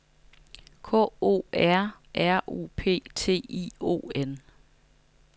K O R R U P T I O N